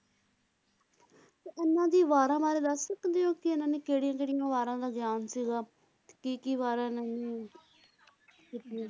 ਤੇ ਉਹਨਾਂ ਦੀ ਵਾਰਾਂ ਬਾਰੇ ਦੱਸ ਸਕਦੇ ਓ ਕਿ ਇਹਨਾਂ ਨੇ ਕਿਹੜੀਆਂ ਕਿਹੜੀਆਂ ਵਾਰਾਂ ਦਾ ਗਿਆਨ ਸੀਗਾ ਕੀ ਕੀ ਵਾਰਾਂ ਇਹਨਾਂ ਨੇ ਲਿਖੀਆਂ?